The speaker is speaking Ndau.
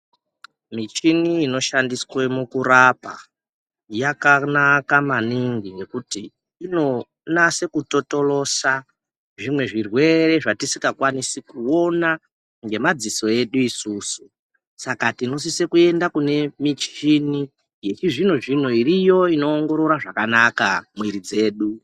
Muchini inoshandiswa mukurapa yakanaka maningi nekuti inonasa kutotorosa zvimwe zvirwere zvatisingakwanisi kuona nemadziso edu isusu saka tinosisa kuenda kune muchini yechizvinozvino iriyo inoongorora zvakanaka muiri dzedu.